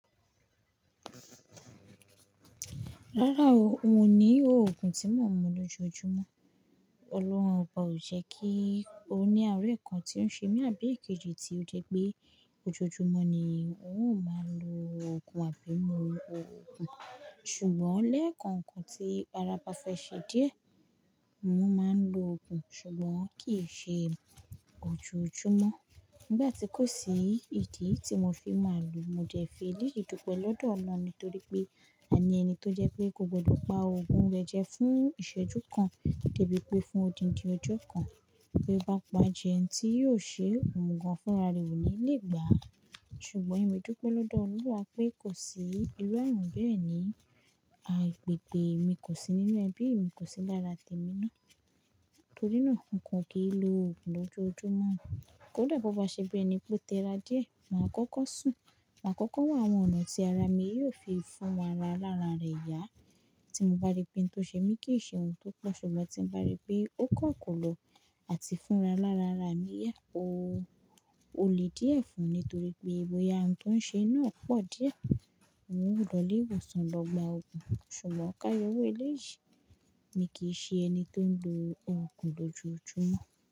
Rárá o, n ò ní òògùn tí mo ń mu lójoojúmọ́. Ọlọ́run ọba ò jẹ́ kí ó ní àáre kan tí ó ṣe mí àbí èkejì tí ó jẹ́ pé ojoojúmọ́ ni n ó máa lo òògùn àbí mu òògùn. Ṣùgbọ́n lẹ́ẹ̀kookan tí ara ba fè ṣe díẹ̀, n ó máa ń lo òògùn. Ṣùgbọ́n kì í ṣe ojoojúmọ́. Nígbà tí kò sí ìdí tí mo fi máa lò ó, mo de fi eléyi dúpẹ́ lọ́dọ̀ Ọlọ́run nítorí pé à ní ẹni tó jẹ́ pé kò gbọdọ̀ pa òògùn rẹ jẹ fún ìṣẹ́jú kan, dẹ́bí pé fún odindi ọjọ́ kan. Bí ó bá pa jẹ ntí yóò ṣe ohun gan fún rarẹ̀ ò ní lè gbá a. Ṣùgbọ́n èmi dúpẹ́ lọ́dọ̀ Ọlọ́run pé kò sí irú ààrùn bẹ́ẹ̀ ni, àìpèpè mi kò sí nínú ẹbí, mi kò sí lára tèmi náà. Torí náà, n kò kì n lo òògùn lójoojúmọ́. Kódà bó bá ṣe bi ẹni ó tẹra díẹ̀, màá kọ́kọ́ sùn, màá kọ́kọ́ wá àwọn ọ̀nà tí ara mi yóò fi fún ra ara lára rẹ̀ yá. Tí n bá rí pé n tó ṣe mí kì í ṣe ohun tó pọ̀, ṣùgbọ́n tí n bá rí pé ó kọ́ kọ́lọ àti fúnra lára ara mi yá o. O lè díẹ̀ fún mi nítorí pé bo ìyà ààrùn tó ń ṣe mi ná pọ̀ díẹ̀. N o lolè ìwòsàn lọ gba òògùn. Ṣùgbọ́n ká yọwó eléyìí. Mi kìí ṣe ẹni tó ń lo òògùn lójoojúmọ́